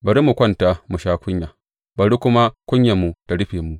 Bari mu kwanta mu sha kunya, bari kuma kunyarmu ta rufe mu.